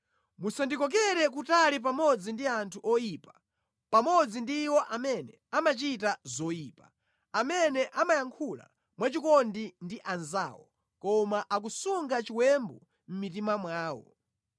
Musandikokere kutali pamodzi ndi anthu oyipa, pamodzi ndi iwo amene amachita zoyipa, amene amayankhula mwachikondi ndi anzawo koma akusunga chiwembu mʼmitima mwawo.